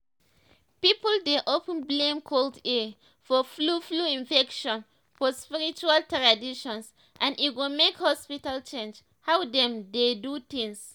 people dey of ten blame cold air for flu flu infections for spiritual traditions and e go make hospitals change how dem dey do tins."